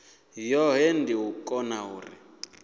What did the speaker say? yohe ndi u kona u